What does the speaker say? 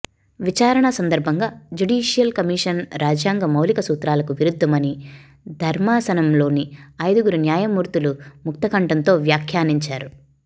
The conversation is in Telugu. విచారణ సందర్భంగా జ్యుడీషియల్ కమిషన్ రాజ్యంగ మౌలిక సూత్రాలకు విరుద్ధమని ధర్మాసనంలోని ఐదుగురు న్యాయమూర్తులు ముక్తకంఠంతో వ్యాఖ్యానించారు